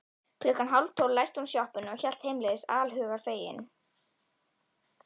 Klukkan hálftólf læsti hún sjoppunni og hélt heimleiðis allshugar fegin.